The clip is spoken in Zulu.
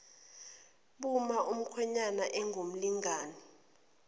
buma umkhwenyana engumlingani